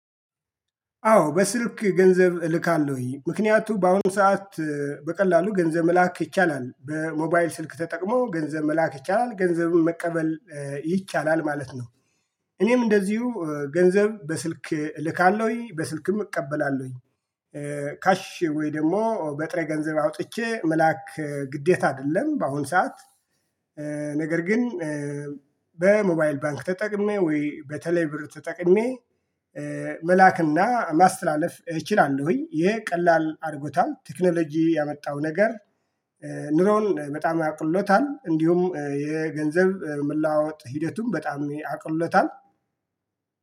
አዎ በስልክ ገንዘብ እልካለሁኝ ምክንያቱም በአሁኑ ሰዓት በቀላሉ ገንዘብ መላክ ይቻላል ሞባይል ስልክ ተጠቅሞ ገንዘብ መላክ ይቻላል ገንዘቡን መቀበል ይቻላል ማለት ነው። እኔም እንደዚሁ ገንዘብ በስልክ እልካለሁኝ በስልክም እቀበላለሁኝ። ካሽ ወይ ደግሞ በጥሬ ገንዘብ አውጥቼ መላክ ግዴታ አይደለም በአሁን ሰዓት። ነገር ግን። በሞባይል ባንክ ተጠቅሜ ወይ በቴሌ ብር ተጠቅሜ። መላክና ማስተላለፍ እችላለሁኝ ይሄ ቀላል አርጎታል ቴክኖሎጂ ያመጣው ነገር። ኑሮን በጣም አቅልሎታል እንዲሁም የገንዘብ መለዋወጥ ሂደቱን በጣም አቅልሎታል